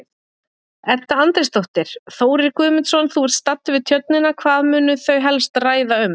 Edda Andrésdóttir: Þórir Guðmundsson, þú ert staddur við Tjörnina, hvað munu þau helst ræða um?